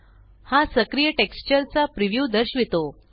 हा सक्रिय टेक्स्चर चा प्रीव्यू दर्शवितो